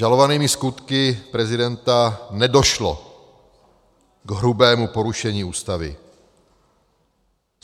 Žalovanými skutky prezidenta nedošlo k hrubému porušení Ústavy.